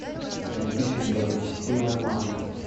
найти фильм благочестивая марта